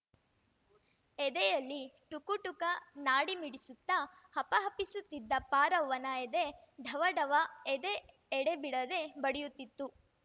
ಎದೆಯಲ್ಲಿ ಟುಕು ಟುಕ ನಾಡಿಮಿಡಿಸುತ್ತಾ ಹಪಹಪಿಸುತ್ತಿದ್ದ ಪಾರವ್ವನ ಎದೆ ಢವ ಢವ ಎದೆ ಎಡೆಬಿಡದೆ ಬಡಿಯುತ್ತಿತ್ತು